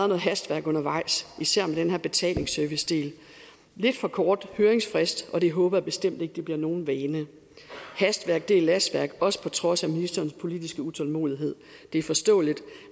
noget hastværk undervejs især om den her betalingsservicedel lidt for kort høringsfrist og det håber jeg bestemt ikke bliver nogen vane hastværk er lastværk også på trods af ministerens politiske utålmodighed det er forståeligt